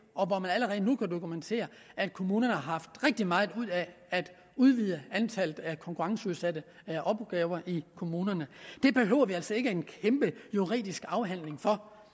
og hvor man allerede nu kan dokumentere at kommunerne har haft rigtig meget ud af at udvide antallet af konkurrenceudsatte opgaver i kommunerne det behøver vi altså ikke en kæmpe juridisk afhandling for